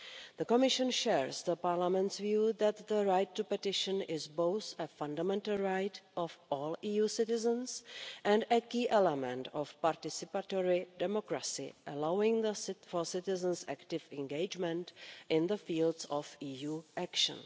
The Commission shares Parliament's view that the right to petition is both a fundamental right of all EU citizens and a key element of participatory democracy, allowing for citizens' active engagement in the fields of EU action.